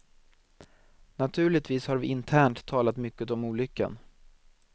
Naturligtvis har vi internt talat mycket om olyckan.